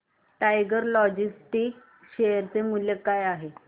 tiger Logistics share चे मूल्य काय असेल